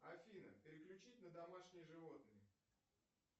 афина переключить на домашние животные